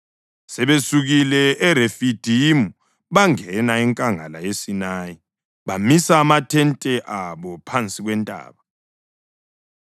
Sebesukile eRefidimu bangena enkangala yeSinayi bamisa amathente abo phansi kwentaba.